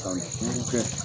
San duuru kɛ.